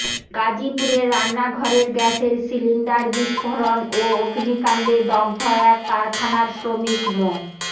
গাজীপুরে রান্নাঘরের গ্যাসের সিলিন্ডার বিস্ফোরণ ও অগ্নিকাণ্ডে দগ্ধ এক কারখানার শ্রমিক মো